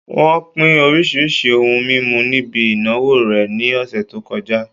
Wón pín oríṣiríṣi ohun mímu níbi ìnáwó rẹ̀ ní ọ̀sẹ̀ tó kọjá